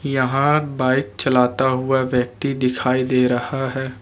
यहां बाइक चलाता हुआ व्यक्ति दिखाई दे रहा है।